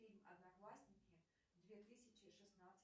фильм одноклассники две тысячи шестнадцать